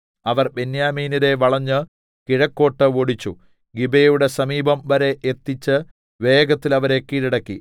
അവർ ബെന്യാമീന്യരെ വളഞ്ഞ് കിഴക്കോട്ട് ഓടിച്ച് ഗിബെയയുടെ സമീപം വരെ എത്തിച്ച് വേഗത്തിൽ അവരെ കീഴടക്കി